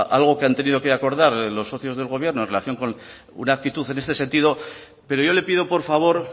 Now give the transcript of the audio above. algo que han tenido que acordar los socios del gobierno en relación con una actitud en este sentido pero yo le pido por favor